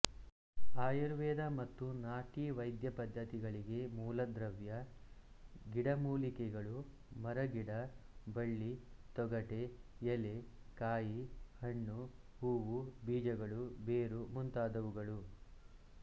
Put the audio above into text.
ಆಯುರ್ವೇದ ಮತ್ತು ನಾಟಿ ವೈದ್ಯಪದ್ಧತಿಗಳಿಗೆ ಮೂಲದ್ರವ್ಯ ಗಿಡಮೂಲಿಕೆಗಳುಮರಗಿಡ ಬಳ್ಳಿತೊಗಟೆ ಎಲೆ ಕಾಯಿ ಹಣ್ಣು ಹೂವು ಬೀಜಗಳು ಬೇರು ಮುಂತಾದವುಗಳು